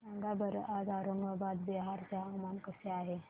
सांगा बरं आज औरंगाबाद बिहार चे हवामान कसे आहे